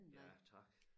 Ja tak